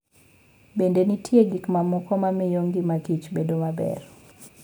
Bende, nitie gik mamoko ma miyo ngimakich bedo maber.